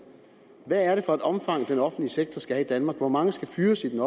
hvad er det for et omfang den offentlige sektor skal have i danmark hvor mange skal fyres i den